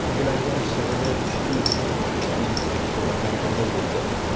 Yangilangan Chevrolet Cruze’ning ilk suratlari paydo bo‘ldi.